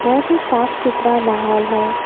बहुत ही साफ सुथरा माहौल है।